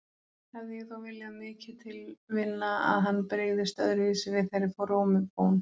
Hefði ég þó viljað mikið til vinna að hann brygðist öðruvísi við þeirri frómu bón.